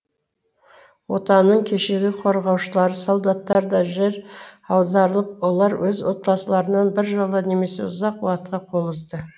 отанының кешегі корғаушылары солдаттар да жер аударылып олар өз отбасыларынан біржола немесе ұзақ уакытқа қол үзді